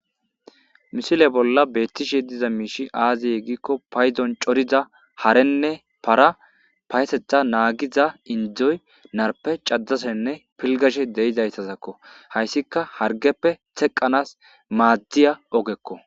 Ha misile bolla beettiza mishshii aze gizaysa gidikko paydon corida harenne para payatetha naagiza inddoy narppe cadashenne pilggashede'zayssako haysika harggeppe teqanaw madiza ogekko